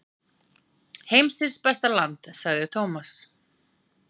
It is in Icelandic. Heimsins besta land sagði Thomas.